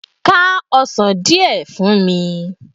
Ká ọsán díẹ̀ fún mi!